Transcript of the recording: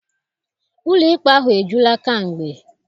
Ụlọikpe ahụ ejula kamgbe.